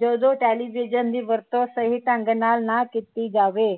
ਜਦੋ television ਦੀ ਵਰਤੋਂ ਸਹੀ ਢੰਗ ਨਾਲ ਨਾ ਕੀਤੀ ਜਾਵੇ